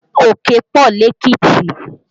Òkè pọ lékìtì